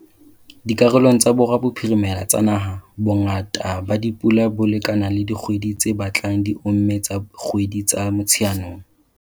Dikarolong tsa borwa bophirimela tsa naha, bongata ba dipula bo lekana le ba dikgwedi tse batlang di omme tsa kgwedi tsa Motsheanong.